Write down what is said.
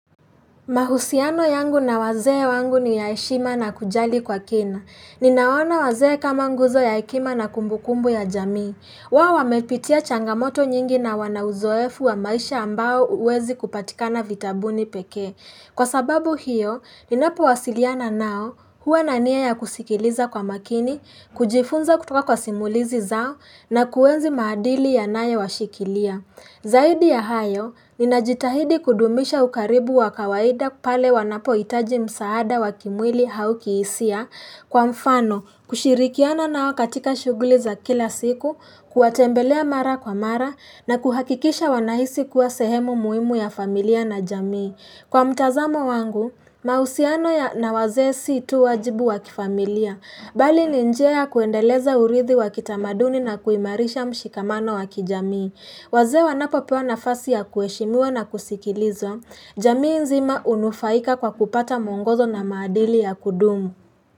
Mahusiano yangu na wazee wangu ni yaeshima na kujali kwa kina. Ninaona wazee kama nguzo ya ekima na kumbukumbu ya jamii. Wao wamepitia changamoto nyingi na wanauzoefu wa maisha ambao uwezi kupatikana vitabuni peke. Kwa sababu hiyo, ninapo wasiliana nao huwa na nia ya kusikiliza kwa makini, kujifunza kutoka kwa simulizi zao na kuenzi maadili ya nae washikilia. Zaidi ya hayo, ninajitahidi kudumisha ukaribu wakawaida pale wanapo itaji msaada wakimwili hauki isia kwa mfano kushirikiana nao katika shughuli za kila siku, kuatembelea mara kwa mara na kuhakikisha wanahisi kuwa sehemu muimu ya familia na jamii. Kwa mtazamo wangu, mausiano na wazee si tu wajibu wakifamilia, bali ni njia ya kuendeleza urithi wakitamaduni na kuimarisha mshikamano wakijamii. Wazee wanapo pewanafasi ya kueshimua na kusikilizwa, jamii nzima unufaika kwa kupata muongozo na maadili ya kudumu.